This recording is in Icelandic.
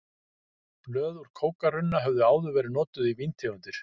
Blöð úr kókarunna höfðu áður verið notuð í víntegundir.